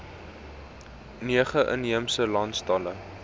nege inheemse landstale